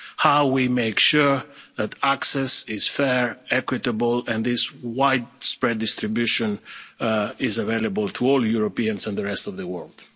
the vaccine, how we make sure that access is fair, equitable and widespread distribution is available to all Europeans and the rest